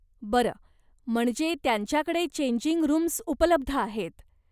बरं, म्हणजे त्यांच्याकडे चेंजिंग रूम्स उपलब्ध आहेत.